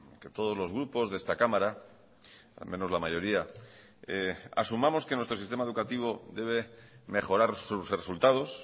que todos los grupos de esta cámara al menos la mayoría asumamos que nuestro sistema educativo debe mejorar sus resultados